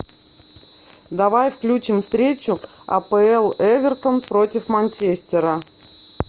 давай включим встречу апл эвертон против манчестера